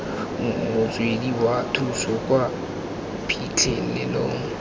motswedi wa thuso kwa phitlhelelong